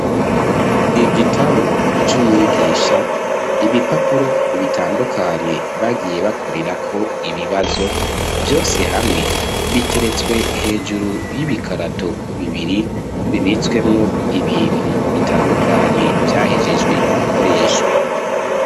Igitabu c'umwigisha ibipapuro bitandukanye bagiye bakorera ko ibibazo vyose hamwe biteretswe hejuru y'ibikarato bibiri bibitswemwo ibintu bitandukanye vyahejejwe gukoreshwa.